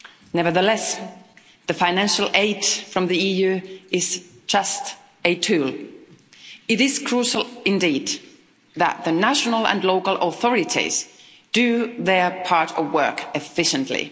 Nevertheless, the financial aid from the EU is just a tool. It is crucial, indeed, that the national and local authorities do their part of work efficiently.